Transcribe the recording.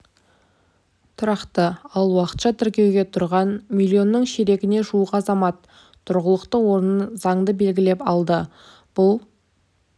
тұрақты ал уақытша тіркеуге тұрған миллионның ширегіне жуық азамат тұрғылықты орнын заңды белгілеп алды бұл